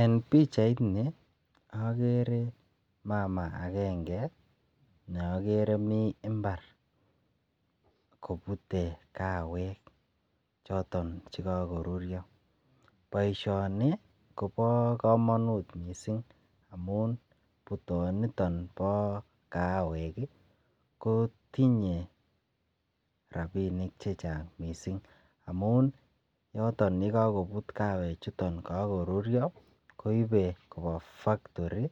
En pichaini okere mamaa agenge ne okere mii imbar kopute kawek choton chekokoruryo. Boishoni Kobo komonut missing amun putonitin bo kaawek kii ko tinye rabinik che Chang missing amun yoton yekokoput kawek chuton kokoruryo koibe koba factory